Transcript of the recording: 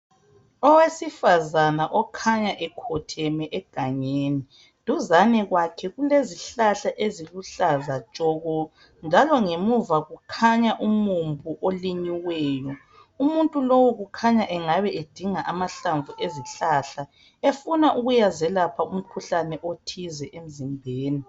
Owesifazana okhanya ekhotheme egangeni. Duzane kwakhe kulezihlahla eziluhlaza tshoko, njalo ngemuva kukhanya umumbu olinyiweyo. Umuntu lowu kukhanya engabe edinga amahlamvu ezihlahla, efuna ukuyazelapha umkhuhlane othize emzimbeni.